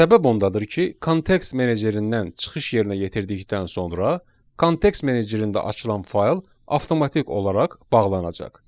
Səbəb ondadır ki, kontekst menecerindən çıxış yerinə yetirdikdən sonra kontekst menecerində açılan fayl avtomatik olaraq bağlanacaq.